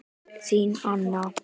Þín Anna.